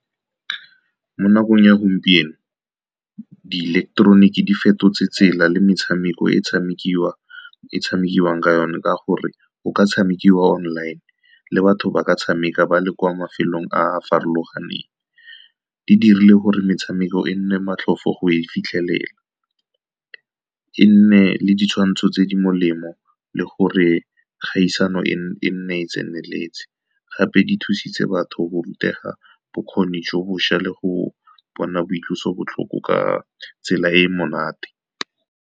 Mo nakong ya gompieno, di ileketeroniki di fetotse tsela le metshameko e tshamekiwang ka yone, ka gore o ka tshamekiwa online le batho ba ba tshameka ba le kwa mafelong a farologaneng. Di dirile gore metshameko e nne matlhofo go e fitlhelela, e nne le ditshwantsho tse di molemo, le gore kgaisano e nne e tseneletse. Gape di thusitse batho go rutega bokgoni jo bošwa le go bona boitlosobotlhoko ka tsela e e monate.